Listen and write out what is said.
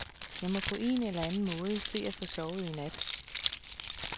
Jeg må på en eller anden måde se at få sovet i nat.